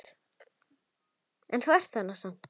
En hún er þarna samt.